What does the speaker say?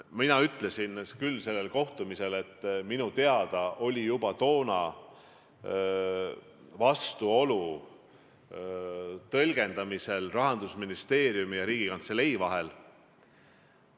Mina ütlesin küll sellel kohtumisel, et minu teada oli juba toona vastuolu Rahandusministeeriumi ja Riigikantselei tõlgenduse vahel.